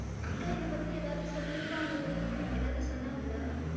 அக்கா என்ன பத்தி ஏதாவது சொல்லி இருப்பாங்களே ஏதாவது சொன்னாங்களா?